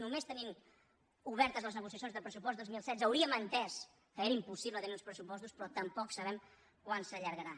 només tenint obertes les negociacions del pressupost dos mil setze hauríem entès que era impossible tenir uns pressupostos però tampoc sabem quant s’allargarà